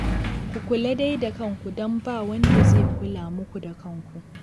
Ku kula dai da kanku don ba wanda zai kula muku da kanku